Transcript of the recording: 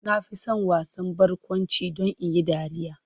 Na fi son kallon wasan barkwanci don in yi dariya.